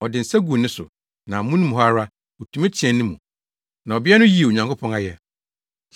Ɔde ne nsa guu ne so, na amono mu hɔ ara otumi teɛɛ ne mu. Na ɔbea no yii Onyankopɔn ayɛ.